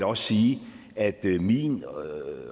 også sige at min